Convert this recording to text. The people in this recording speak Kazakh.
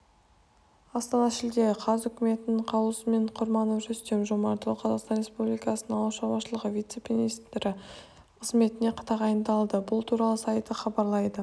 астана шілде қаз үкіметінің қаулысымен құрманов рүстем жомартұлы қазақстан республикасының ауыл шаруашылығы вице-министрі қызметіне тағайындалды бұл туралы сайты хабарлайды